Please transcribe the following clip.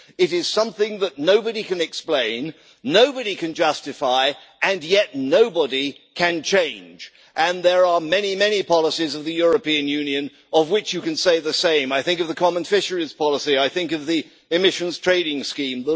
It is something that nobody can explain, nobody can justify, and yet nobody can change, and there are many, many policies of the European Union of which you can say the same. I think of the common fisheries policy, I think of the Emissions Trading Scheme.